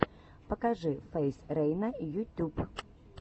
покажи фейз рейна ютюб